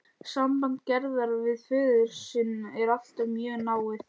Samband Gerðar við föður sinn er alltaf mjög náið.